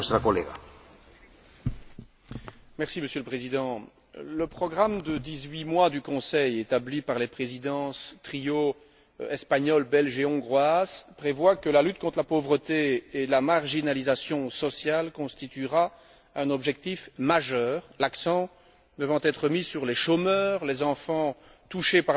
Merci, Monsieur le Président, le programme de dix huit mois du Conseil établi par les Présidences triples, espagnole, belge et hongroise, prévoit que la lutte contre la pauvreté et la marginalisation sociale constituera un objectif majeur, l'accent devant être mis sur les chômeurs, les enfants touchés par la pauvreté, les travailleurs pauvres et les familles